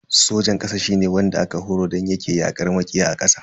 Sojan kasa shine wanda aka horar don yake yakar makiya a ƙasa.